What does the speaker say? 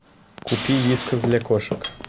купи вискас для кошек